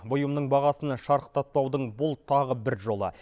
бұйымның бағасын шарықтатпаудың бұл тағы бір жолы